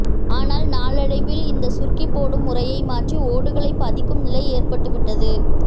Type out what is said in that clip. ஆனால் நாளடைவில் இந்த சுர்க்கி போடும் முறையை மாற்றி ஓடுகளை பதிக்கும் நிலை ஏற்பட்டுவிட்டது